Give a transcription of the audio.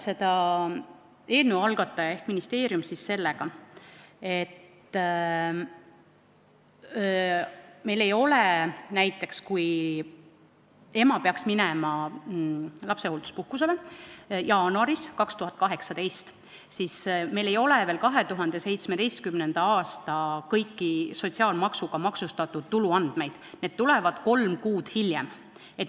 Eelnõu algataja ehk ministeerium põhjendas seda sellega, et kui ema läks lapsehoolduspuhkusele näiteks jaanuaris 2018, siis sel ajal ei olnud veel kõiki andmeid 2017. aastal sotsiaalmaksuga maksustatud tulu kohta, need tulevad kolm kuud hiljem.